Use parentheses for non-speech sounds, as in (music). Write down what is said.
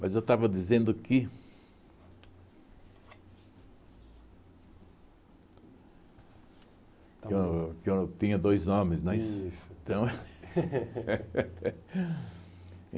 Mas eu estava dizendo que... Que eu que eu tinha dois nomes, não é isso? Então (laughs)